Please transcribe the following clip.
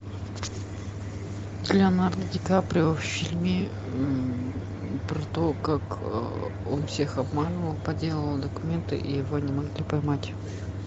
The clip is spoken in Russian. леонардо ди каприо в фильме про то как он всех обманывал подделывал документы и его не могли поймать